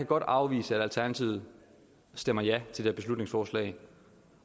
godt afvise at alternativet stemmer ja til det her beslutningsforslag